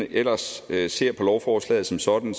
ellers ser på lovforslaget som sådan